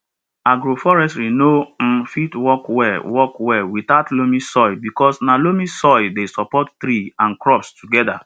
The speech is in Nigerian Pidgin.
agroforestry nor um fit work well work well without loamy soil because na loamy soil dey support tree and crops together